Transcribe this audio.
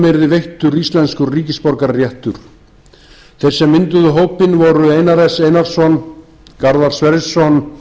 yrði veittur íslenskur ríkisborgararéttur þeir sem mynduðu hópinn voru einar s einarsson garðar sverrisson